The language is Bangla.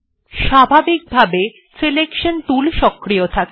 স্বাভাবিকভাবে সিলেকশন টুল সক্রিয় থাকে